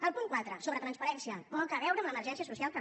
el punt quatre sobre transparència poc a veure amb l’emergència social també